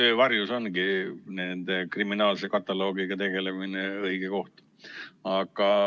Öö varjus ongi kriminaalse kataloogiga tegelemine õige aeg.